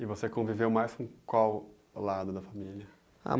E você conviveu mais com qual lado da família? Ah